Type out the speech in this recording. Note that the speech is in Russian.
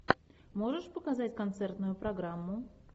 можешь показать концертную программу